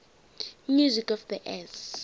music of the s